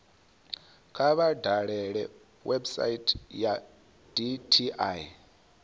kha vha dalele website ya dti